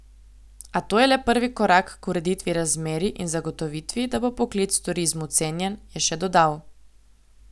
A to je le prvi korak k ureditvi razmerij in zagotovitvi, da bo poklic v turizmu cenjen, je še dodal.